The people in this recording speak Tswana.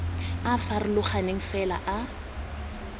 a a farologaneng fela a